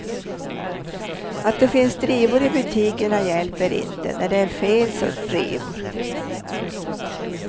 Att det finns drivor i butikerna hjälper inte, när det är fel sorts drivor.